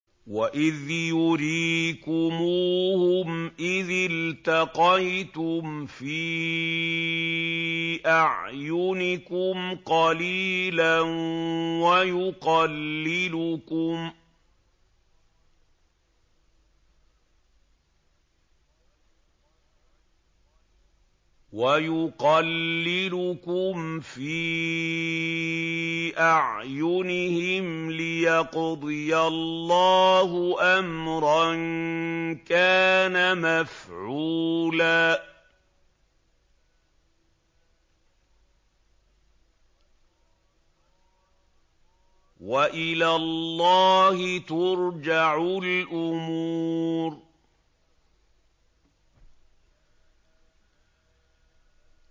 وَإِذْ يُرِيكُمُوهُمْ إِذِ الْتَقَيْتُمْ فِي أَعْيُنِكُمْ قَلِيلًا وَيُقَلِّلُكُمْ فِي أَعْيُنِهِمْ لِيَقْضِيَ اللَّهُ أَمْرًا كَانَ مَفْعُولًا ۗ وَإِلَى اللَّهِ تُرْجَعُ الْأُمُورُ